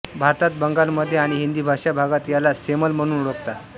भारतात बंगालमध्ये आणि हिंदी भाषा भागात याला सेमल म्हणून ओळखतात